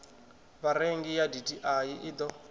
vharengi ya dti i ḓo